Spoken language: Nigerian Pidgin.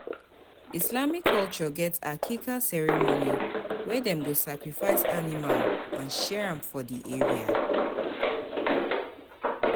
Islamic culture get Aqiqah ceremony wey dem go sacrifice animal and share am for di area